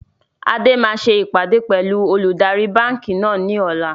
Adé máa ṣe ìpàdé pẹlu olùdarí báńkì náà ni ọ̀la